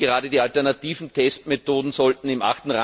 Gerade die alternativen Testmethoden sollten im